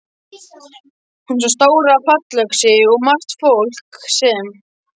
Hún sá stóra fallöxi og margt fólk sem.